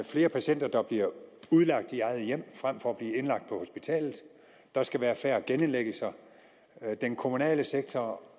flere patienter der bliver udlagt i eget hjem frem for at blive indlagt på hospitalet at der skal være færre genindlæggelser at den kommunale sektor og